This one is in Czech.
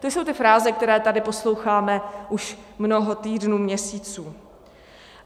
To jsou ty fráze, které tady posloucháme už mnoho týdnů, měsíců.